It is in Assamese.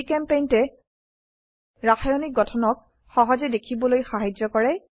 GChemPaintএ ৰাসায়নিক গঠনক সহজে দেখিবলৈ সাহায্য কৰে